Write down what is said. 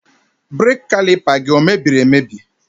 Brake Caliper gi emebiri emebi?